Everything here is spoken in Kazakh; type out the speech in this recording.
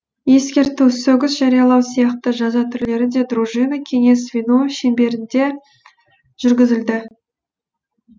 ескерту сөгіс жариялау сияқты жаза түрлері де дружина кеңес звено шеңберінде жүргізілді